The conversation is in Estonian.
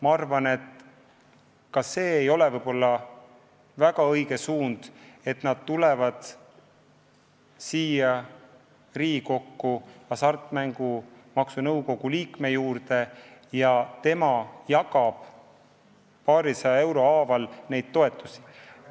Ma arvan, et see ei olegi olnud väga õige lahendus, et nad on tulnud siia Riigikokku Hasartmängumaksu Nõukogu liikme juurde ja tema jagab paarisaja euro haaval neid toetusi.